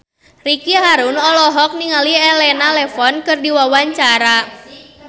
Ricky Harun olohok ningali Elena Levon keur diwawancara